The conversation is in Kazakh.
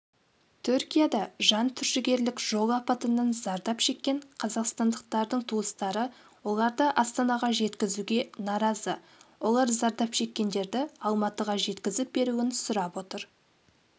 түркияда жантүршігерлік жол апатынан зардап шеккен қазақстандықтардың туыстары оларды астанаға жеткізуге наразы олар зардап шеккендерді алматыға жеткізіп беруін сұрап отыр